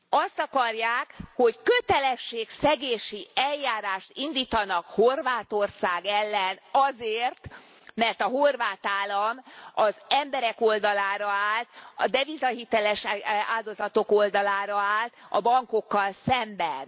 Azt akarják, hogy kötelességszegési eljárást indítanak Horvátország ellen azért, mert a horvát állam az emberek oldalára állt, a devizahiteles áldozatok oldalára állt a bankokkal szemben.